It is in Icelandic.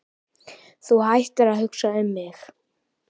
Þú hættir að hugsa um mig.